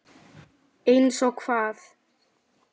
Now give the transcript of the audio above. Einsog hvað?